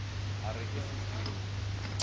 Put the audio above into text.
e re ke se hlweng